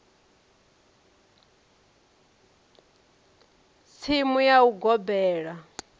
si tsimu ya u gobela